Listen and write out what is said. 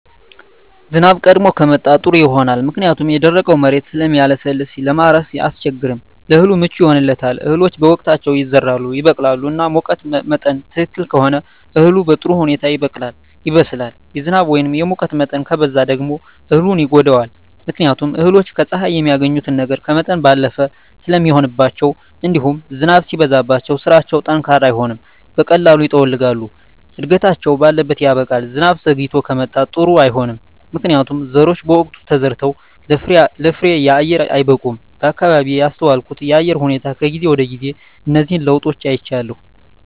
ዝናብ ቀድሞ ከመጣ ጥሩ ይሆናል ምክንያቱም የደረቀዉ መሬት ስለሚለሰልስ ለማረስ አያስቸግርም ለእህሉ ምቹ ይሆንለታል እህሎች በወቅታቸዉ ይዘራሉ ይበቅላሉ እና ሙቀት መጠን ትክክል ከሆነ እህሉ በጥሩ ሁኔታ ይበቅላል ይበስላል የዝናብ ወይም የሙቀት መጠን ከበዛ ደግሞ እህሉን ይጎዳዋል ምክንያቱም እህሎች ከፀሐይ የሚያገኙትን ነገር ከመጠን ባለፈ ስለሚሆንባቸዉእንዲሁም ዝናብም ሲበዛባቸዉ ስራቸዉ ጠንካራ አይሆንም በቀላሉ ይጠወልጋሉ እድገታቸዉ ባለት ያበቃል ዝናብ ዘይግቶ ከመጣም ጥሩ አይሆንም ምክንያቱም ዘሮች በወቅቱ ተዘርተዉ ለፍሬየአየር አይበቁም በአካባቢየ ያስተዋልኩት የአየር ሁኔታ ከጊዜ ወደጊዜ እነዚህን ለዉጦች አይቻለሁ